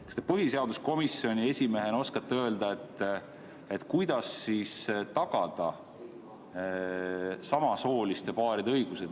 Kas te põhiseaduskomisjoni esimehena oskate öelda, kuidas siis tagada samasooliste paaride õigusi?